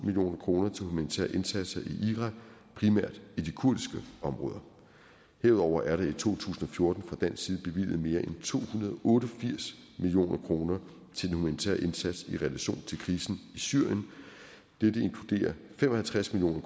million kroner til humanitære indsatser i irak primært i de kurdiske områder herudover er der i to tusind og fjorten fra dansk side bevilget mere end to hundrede og otte og firs million kroner til den humanitære indsats i relation til krisen i syrien dette inkluderer fem og halvtreds million